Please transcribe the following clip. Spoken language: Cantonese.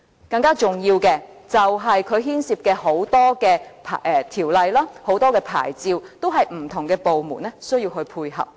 更重要的是，它牽涉到很多條例和牌照，需要不同的部門配合。